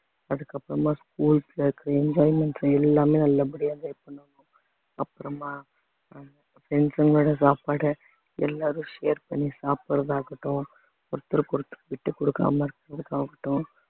அதுக்கப்புறமா schools ல இருக்கிற enjoyments எல்லாமே நல்லபடியா enjoy பண்ணுவாங்க அப்புறமா ஆஹ் friends ங்களோட சாப்பாடு எல்லாரும் share பண்ணி சாப்பிடறதாகட்டும் ஒருத்தருக்கு ஒருத்தர் விட்டு கொடுக்காம இருக்கிறதாகட்டும்